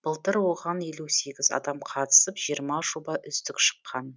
былтыр оған елу сегіз адам қатысып жиырма жоба үздік шыққан